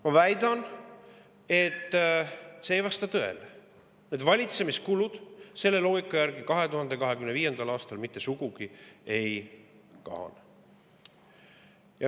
Ma väidan, et see ei vasta tõele: valitsemiskulud selle loogika järgi 2025. aastal mitte sugugi ei kahane.